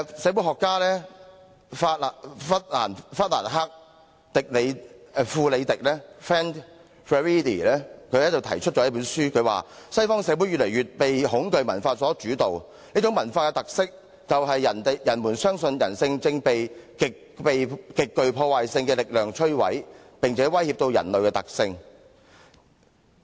社會學家弗蘭克.富里迪在其書中提到：西方社會越來越被恐懼文化所主導，這種文化的特色，就是人們相信人性正被極具破壞性的力量摧毀，並且威脅到人類的存在。